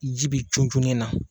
Jibi junjun min na.